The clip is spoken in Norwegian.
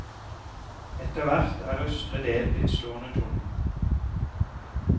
Etterhvert er østre del blitt stående tom.